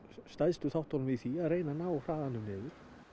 stærstu þáttunum í því að ná hraðanum niður